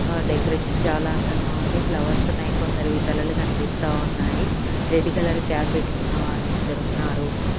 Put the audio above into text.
ఆ డెకరేషన్ చాలా అందంగా ఉంది ఫ్లవర్స్ ఉన్నాయి కొందరివి తలలు కనిపిస్తా ఉన్నాయి రెడ్ కలర్ క్యాప్ పెట్టుకున్న వాళ్ళు ఇద్దరు ఉన్నారు.